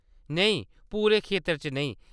नेईं, पूरे खेतर च नेईं।